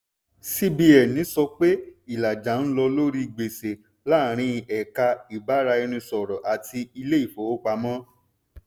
cbn sọ pé ìlàjà ń lọ lórí gbèsè láàrín ẹ̀ka ìbáraẹnisọ̀rọ̀ àti ilé ìfowópamọ́.